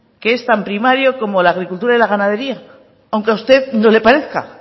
que es tan primario como la agricultura y la ganadería aunque a usted no le parezca